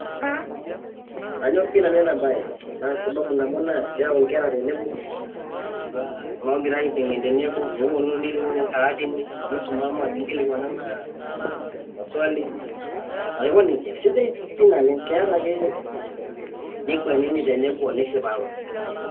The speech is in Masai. Kaanyor pii nanu ena baye na sababu naabo naa eyau nkerra tenebo loogira aiteng'ene teneboo newuonu niniyuyu nkaatini ,nisomama nikilikwanana maswali aiko nejaa. Sidai pii naleng keeta ake. Nikwanini teneboo nisipapa.